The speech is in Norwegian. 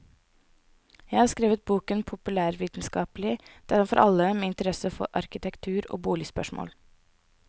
Jeg har skrevet boken populærvitenskapelig, den er for alle med interesse for arkitektur og boligspørsmål.